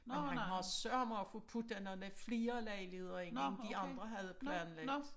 Men han har sørme også fået puttet nogle flere lejligheder ind end de andre havde planlagt